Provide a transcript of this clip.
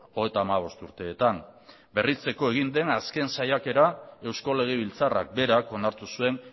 hogeita hamabost urteetan berritzeko egin den azken saiakera eusko legebiltzarrak berak onartu zuen